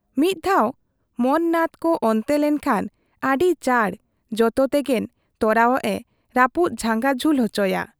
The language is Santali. ᱢᱤᱫ ᱫᱷᱟᱣ ᱢᱚᱱ ᱱᱟᱛᱷ ᱠᱚ ᱚᱱᱛᱮ ᱞᱮᱠᱷᱟᱱ ᱟᱹᱰᱤ ᱪᱟᱸᱰ ᱡᱚᱛᱚ ᱛᱮᱸᱜᱮᱱ ᱛᱚᱨᱟᱣᱟᱜ ᱮ ᱨᱟᱹᱯᱩᱫ ᱡᱷᱟᱸᱜᱟ ᱡᱷᱩᱞ ᱚᱪᱚ ᱠᱚᱣᱟ ᱾